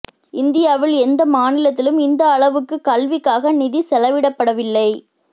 இந்தியாவில் எந்த மாநிலத்திலும் இந்த அளவுக்குக் கல்விக்காக நிதி செலவிடப்படவில்லை